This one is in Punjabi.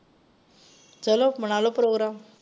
ਚਲੋ ਬਨਾਲੋ ਪ੍ਰੋਗਰਾਮ।